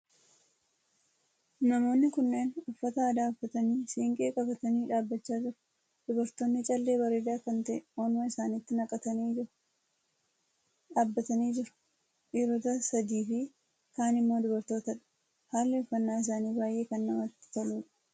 Namoonni kunneen uffata aadaa uffatanii siinqee qabatanii dhaabbachaa jiru. Dubartoonni callee bareedaa kan ta`e morma isaaniitti naqatanii jiru. Dhaabbatanii jiru. Dhiirota sadii Fi kaan immoo dubartootadha. Haalli uffannaa isaanii baay'ee kan namatti toluudha.